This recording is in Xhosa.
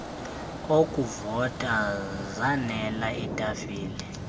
okuvota zaanele iitafile